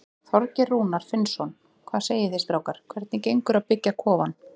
Þorgeir Rúnar Finnsson: Hvað segið þið strákar, hvernig gengur að byggja kofann?